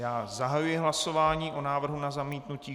Já zahajuji hlasování o návrhu na zamítnutí.